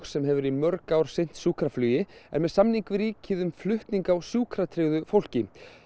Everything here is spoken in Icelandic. sem hefur í mörg ár sinnt sjúkraflugi er með samning við ríkið um flutning á sjúkratryggðu fólki